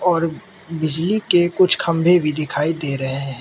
और बिजली के कुछ खंबे भी दिखाई दे रहे हैं।